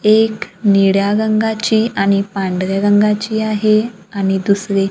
एक निळ्या रंगाची आणि पांढऱ्या रंगाची आहे आणि दुसरी--